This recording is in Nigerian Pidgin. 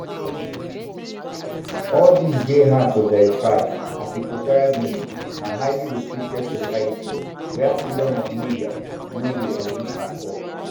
all dis dey hard to verify as equatorial guinea na highly restricted society wia freedom of media um no um dey exist at all